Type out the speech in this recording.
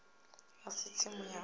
a si tsimu ya u